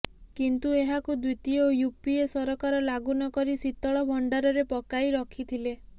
କିନ୍ତୁ ଏହାକୁ ଦ୍ୱିତୀୟ ୟୁପିଏ ସରକାର ଲାଗୁ ନକରି ଶୀତଳ ଭଣ୍ଡାରରେ ପକାଇ ରଖିଥିଲେ